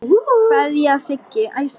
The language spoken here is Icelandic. Kveðja, Siggi.